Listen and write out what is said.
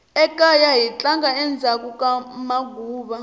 ekaya hi tlanga endzhaku ka maguva